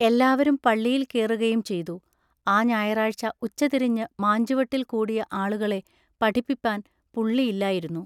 എല്ലാവരും പള്ളിയിൽ കേറുകയും ചെയ്തു. ആ ഞായറാഴ്ച ഉച്ചതിരിഞ്ഞു മാഞ്ചുവട്ടിൽ കൂടിയ ആളു കളെ പഠിപ്പിപ്പാൻ പുള്ളിയില്ലായിരുന്നു.